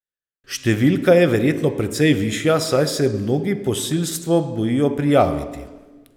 Številka je verjetno precej višja, saj se mnogi posilstvo bojijo prijaviti.